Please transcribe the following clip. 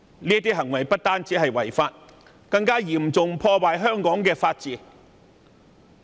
這些行為不止違法，更嚴重破壞香港的法治。